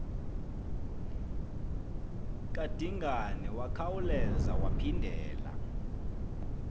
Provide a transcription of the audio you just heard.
kadingane wakhaeula waphindelela